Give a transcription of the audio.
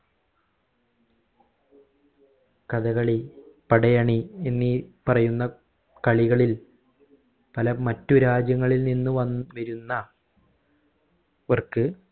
കഥകളി പടയണി എന്നീ പറയുന്ന കളികളിൽ പല മറ്റു രാജ്യങ്ങളിൽ നിന്നു വൻ വരുന്ന വർക്ക്